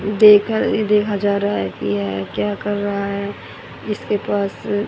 देख अ देखा जा रहा है की यह क्या कर रहा है इसके पास--